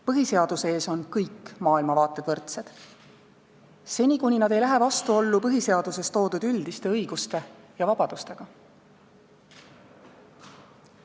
Põhiseaduse ees on kõik maailmavaated võrdsed, seni kuni nad ei lähe vastuollu põhiseaduses toodud üldiste õiguste ja vabadustega.